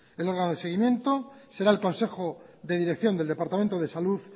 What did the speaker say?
el órgano de seguimiento será el consejo de dirección del departamento de salud